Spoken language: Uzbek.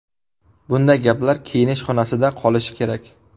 Bunday gaplar kiyinish xonasida qolishi kerak.